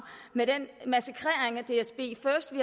med den massakre